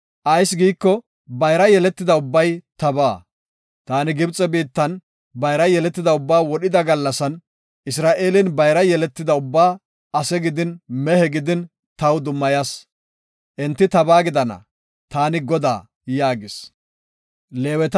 Ayis giiko, bayra yeletida ubbay tabaa. Ta Gibxe biittan bayra yeletida ubbaa wodhida gallasan, Isra7eelen bayra yeletidaba ubbaa ase gidin, mehe gidin, taw dummayas. Enti tabaa gidana. Taani Godaa” yaagis.